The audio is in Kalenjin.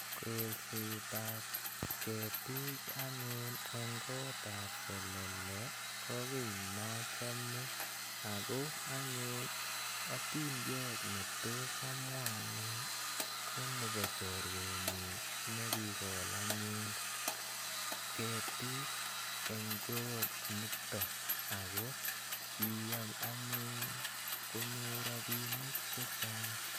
Kolset ap ketik anyun eng' kot ap selele ko ki ne achame ako anyun atindiot ne tos amwa ane ko nepo chorwenyu ne kikol anyun ketik eng' kot nitok ako kiyai anyun ko nyor rapinik che chang'.